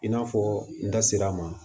I n'a fɔ n da sera a ma